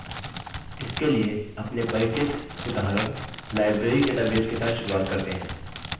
इसके लिए अपने परिचित उदाहरण library database के साथ शुरुआत करते हैं